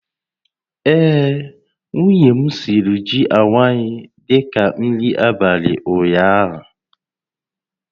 Ee, nwunye m siri ji awaị dị ka nri abalị ụnyaahụ